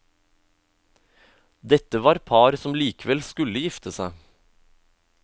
Dette var par som likevel skulle gifte seg.